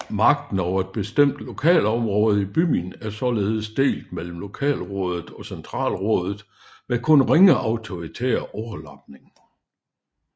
Magten over et bestemt lokalområde i byen er således delt mellem lokalrådet og centralrådet med kun ringe autoritær overlapning